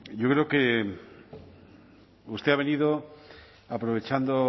yo creo que usted ha venido aprovechando